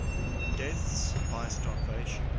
deaths by starvation